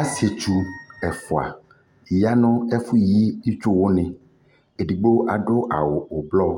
Asitsu ɛfua ya nʋ ɛfʋ yi itsuwani Edigbo adʋ awʋ ʋblɔ